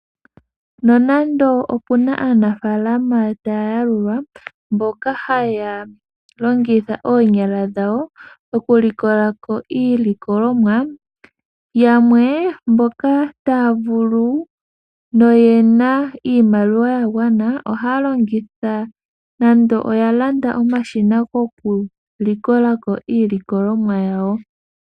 Nonando opuna aanafalama tayayalulwa mboka haya longitha oonyala dhawo oku likolako iilikolomwa, yamwe mboka taya vulu noyena iimaliwa yagwana ohaya longitha nando oya landa omashina go kulikolako iilikolomwa yawo.